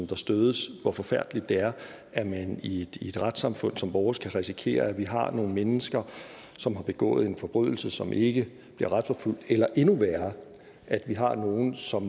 der stødes hvor forfærdeligt det er at man i et retssamfund som vores kan risikere at vi har nogle mennesker som har begået en forbrydelse og som ikke bliver retsforfulgt eller endnu værre at vi har nogle som